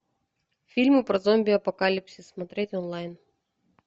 фильмы про зомби апокалипсис смотреть онлайн